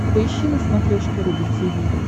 поищи на смотрешке рубль ти ви